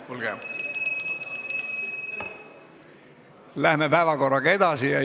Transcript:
Kuulge, läheme päevakorraga edasi!